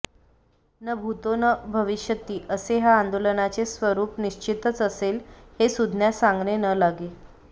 न भूतो न भविष्यती असे या आंदोलनाचे स्वरूप निश्चितच असेल हे सुज्ञास सांगणे न लागे